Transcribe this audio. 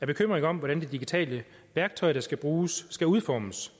bekymring om hvordan det digitale værktøj der skal bruges skal udformes